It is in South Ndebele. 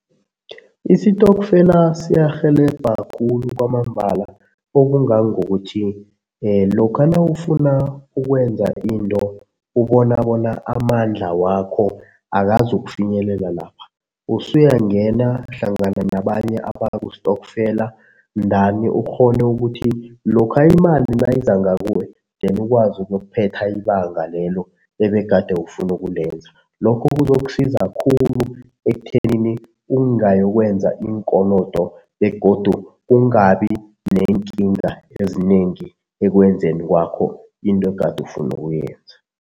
Isitokfela siyarhelebha khulu kwamambala okungangokuthi lokha nawufuna ukwenza into ubona bona amandla wakho akazukufinyelela lapha, usuyangena hlangana nabanye abakustokfela ndani ukghone ukuthi lokha imali nayiza ngakuwe then ukwazi ukuyokuphetha ibanga lelo ebegade ufuna ukulenza. Lokho kuzokusiza khulu ekuthenini ungayokwenza iinkolodo begodu kungabi neenkinga ezinengi ekwenzeni kwakho into egade ufuna kuyenza.